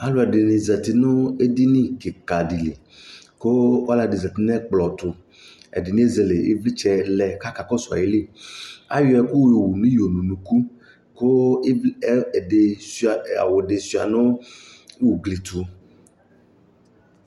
Alʋɛdɩnɩ zati nʋ edini kɩka dɩ li kʋ ɔlɔdɩ zati nʋ ɛkplɔ tʋ Ɛdɩnɩ ezele ɩvlɩtsɛ lɛ kʋ akakɔsʋ ayili Ayɔ ɛkʋ yowu nʋ iyo nʋ unuku kʋ ɩvlɩ ɛ ɛdɩ sʋɩa awʋ dɩ sʋɩa nʋ ugli tʋ